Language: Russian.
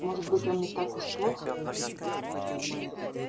может быть он не так уж плох